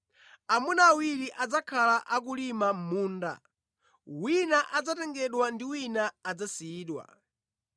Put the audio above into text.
Amuna awiri adzakhala akulima mʼmunda; wina adzatengedwa ndi wina adzasiyidwa.”